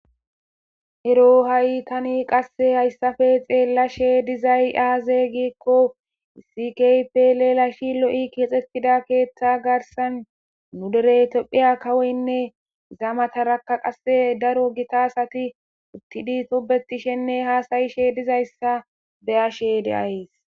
Ero ha'i tani qasse hayssafe xeellashe dizay aaze giikko sikypelelashi lo'i keexetida keeththa garsan nu derey tophiya kawoynne zaamatarakka qasse daro gitasati uttidi tobetishenne haasayishe dizayssa beyashe de'aes.